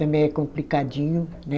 Também é complicadinho, né?